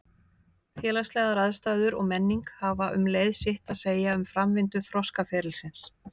Félagslegar aðstæður og menning hafa um leið sitt að segja um framvindu þroskaferilsins.